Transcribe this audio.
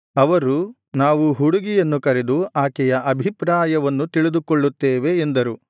ಅವರು ನಾವು ಹುಡುಗಿಯನ್ನು ಕರೆದು ಆಕೆಯ ಅಭಿಪ್ರಾಯವನ್ನು ತಿಳಿದುಕೊಳ್ಳುತ್ತೇವೆ ಎಂದರು